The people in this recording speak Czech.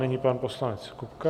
Nyní pan poslanec Kupka.